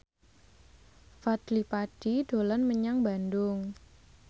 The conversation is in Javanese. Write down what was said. Fadly Padi dolan menyang Bandung